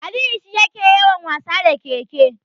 Aliyu shi yake yawan wasa da keke.